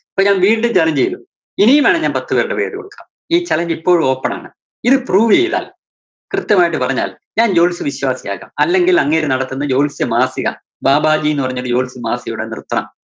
ഞാന്‍ വീണ്ടും challenge ചെയ്‌തു ഇനിയും വേണമെങ്കിൽ ഞാൻ പത്തു പേരുടെ പേരുകൊടുക്കാം ഈ challenge ഇപ്പോഴും open ആണ്. ഇത് prove വെയ്താൽ, കൃത്യമായിട്ട് പറഞ്ഞാൽ ഞാൻ ജ്യോത്സ്യ വിശ്വാസിയാകാം. അല്ലെങ്കിൽ അങ്ങേര് നടത്തുന്ന ജ്യോത്സ്യ മാസിക ബാബാജിന്ന് പറഞ്ഞൊരു ജ്യോത്സ്യ മാസിക ഉണ്ട് അത് നിർത്തണം.